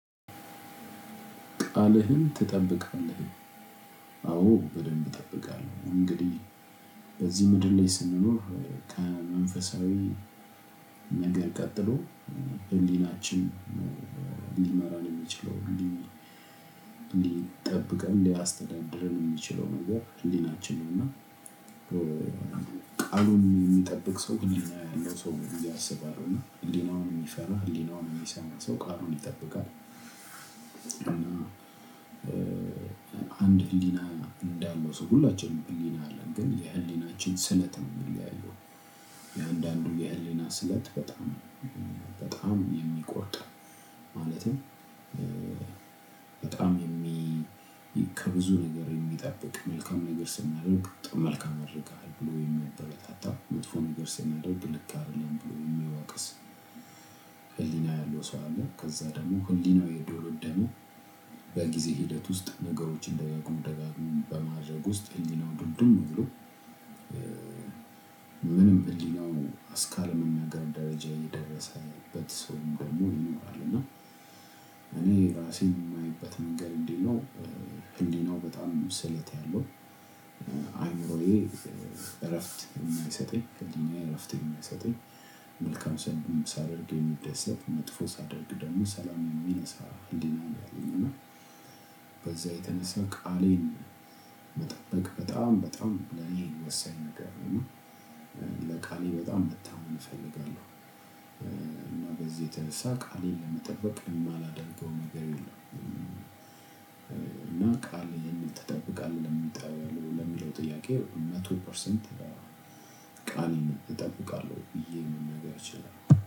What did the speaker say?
ቃልህን ትጠብቃለህ አዎ በደንብ እጠብቃለሁ። እንግዲህ በዚህ ምድር ላይ ስንኖር ከመንፈሳዊ ነገር ቀጥሎ ህሊናችን ሊመራን የሚችለውን ሊጠብቀን ሊያስተደድርን የሚችለው ነገር ህሊናችን ነው። እና ቃሉን የሚጠብቅ ሰው ህሊና ያለው ሰው ብዬ አስባለው እና ህሊናውን የሚፈራ ህሊናውን የሚሰማ ሰው ቃሉን ይጠብቃል። እና አንድ ህሊና እንዳለው ሰው ሁላችንም ህሊና አለን ግን የህሊናችን ስለት ነው የሚለያየው። የአንዳንዱ የህሊና ስለት በጣም በጣም የሚቆርር። ማለትም በጣም የሚ ከብዙ ነገር የሚጠብቅ መልካም ነገር ስናደርግ መልካም አድርገሃል ብሎ የሚያበረታታ መጥፎ ነገር ስናደርግ ልክ አይደለም ብሎ የሚወቅስ ህሊና ያለው ሰው አለ። ከዛ ደግሞ ህሊናው የዶለደማ በጊዜ ሂደት ውስጥ ነገሮችን ደጋግሞ ደጋግሞ በማድረግ ውስጥ ህሊናው ዱልድም ብሎ። ምንም ህሊናው አስካል ምንም ነገር ደረጃ የደረሰበት ሰውም ደግሞ ይኖራል። እና እኔ እራሴን የማይበት መንገድ እንዴት ነው? ህሊናው በጣም መስለት ያለው አይምሮዬ እረፍት የማይሰጠኝ ህሊናዬ እረፍት የማይሰጠኝ መልካም ሳደርግ የሚደሰት መጥፎ ሳደርግ ደግሞ ሰላም የሚነሳ ህሊና አለኝ። እና በዛ የተነሳ ቃሌን ለመጠበቅ በጣም በጣም ለኔ ወሳኝ ነገር ነው። ለቃሌ በጣም መታመን እፈልጋለሁ። እና በዚህ የተረሳ ቃሌን ለመጠበቅ የማላደርገው ነገር የለም። እና ቃልህን ትጠብቃለህ? ለሚለው ጥያቄ መቶ ፐርሰንት ቃል እጠብቃለሁ ብዬ መናገር እችላለሁ።